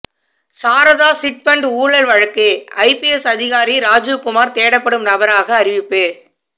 Saradha chit fund ஊழல் வழக்கு IPS அதிகாரி ராஜிவ் குமார் தேடப்படும் நபராக அறிவிப்பு